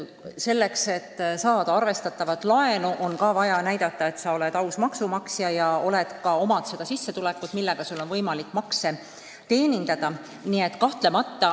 Selleks et saada arvestatavat laenu, on ka vaja tõendada, et sa oled aus maksumaksja ja sul on sissetulek, millega sul on võimalik laene teenindada.